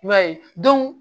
I b'a ye